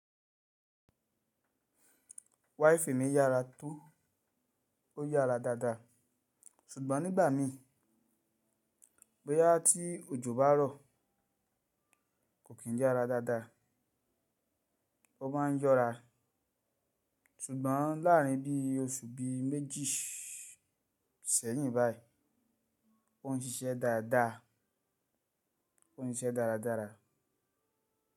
Waifi mi yára tó, ó yára dáadáa. Sugbon nígbà mi bọ́yá tí òjò bá rọ̀ kò kí n yára dáadáa, ó má n yọ́ra. Sugbon láàrin bí oṣù bí méjì sẹ́yìn báyìí, ó n ṣiṣẹ́ dáadáa, ó n ṣiṣẹ́ dáradára.